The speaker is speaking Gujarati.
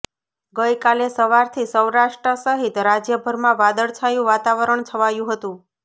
ગઈકાલે સવારથી સૌરાષ્ટ્ર સહિત રાજયભરમાં વાદળછાયું વાતાવરણ છવાયું હતું